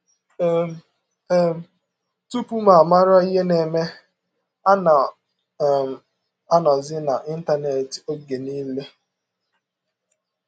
um um Tụpụ m mara ihe na - eme, ana um m anọzi n’Ịntanet ọge niile.